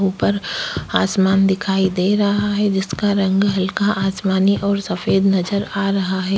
ऊपर आसमान दिखाई दे रहा है जिसका रंग हल्का आसमानी और सफेद नजर आ रहा है।